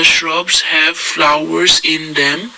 shrubs have flowers in them.